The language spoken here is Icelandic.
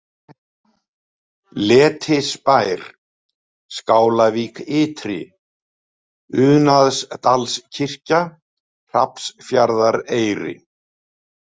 Letisbær, Skálavík Ytri, Unaðsdalskirkja, Hrafnsfjarðareyri